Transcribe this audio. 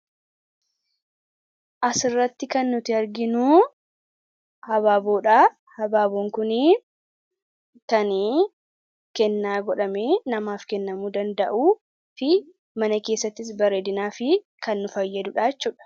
Suuraa kana irratti kan nuti arginu abaaboo dha. Abaaboon kunis kan kennaa godhamee namaa kennamuu dha. Akkasumas mana keessatti miidhaginaaf kan nu fayyaduu dha.